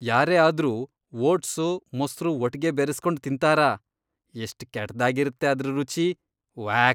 ಯಾರೇ ಆದ್ರೂ ಓಟ್ಸು, ಮೊಸ್ರು ಒಟ್ಗೆ ಬೆರೆಸ್ಕೊಂಡ್ ತಿಂತಾರಾ?! ಎಷ್ಟ್ ಕೆಟ್ದಾಗಿರತ್ತೆ ಅದ್ರ್ ರುಚಿ..ವ್ಯಾಕ್!